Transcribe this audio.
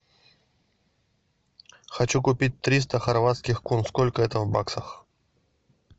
хочу купить триста хорватских кун сколько это в баксах